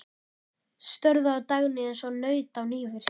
Störðu á Dagnýju eins og naut á nývirki.